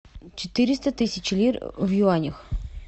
четыреста тысяч лир в юанях